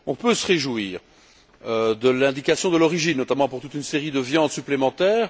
Nous pouvons nous réjouir de l'indication de l'origine, notamment pour toute une série de viandes supplémentaires.